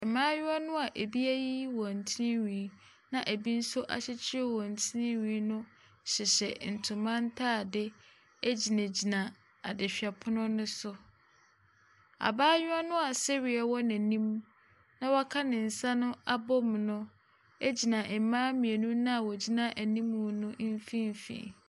Mmayewa no a ebi ayi wɔn tinwi na ebi nso akyekyere wɔn tinwi no hyehyɛ ntoma ntade gyinagyina adehwɛpono no so. Abayewa no a sereɛ wɔ n'anim na waka ne nsa no abom no gyina mmaa mmienu no a wɔgyina anim no mfimfini.